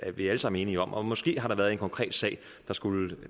er vi alle sammen enige om måske har der været en konkret sag der skulle